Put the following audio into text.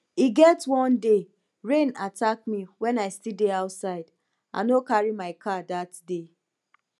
e get one day rain attack me wen i still dey outside i no carry my car dat day